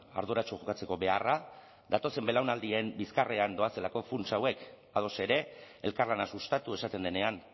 arduratsu jokatzeko beharra datozen belaunaldien bizkarrean doazelako funts hauek ados ere elkarlana sustatu esaten denean